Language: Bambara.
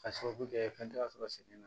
Ka sababu kɛ fɛn tɛ ka sɔrɔ sen na